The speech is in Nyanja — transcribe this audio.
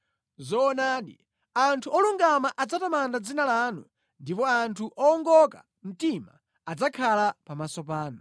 Zoonadi anthu olungama adzatamanda dzina lanu, ndipo anthu owongoka mtima adzakhala pamaso panu.